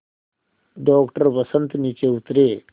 doctor Vasant नीचे उतरे